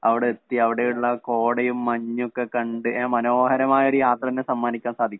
അവടെത്തി അവടെയുള്ള കോടയും മഞ്ഞുവൊക്കെക്കണ്ട് ഏഹ് മനോഹരമായൊരു യാത്രതന്നെ സമ്മാനിക്കാൻ സാധിക്കും.